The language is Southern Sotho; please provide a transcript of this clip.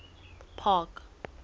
park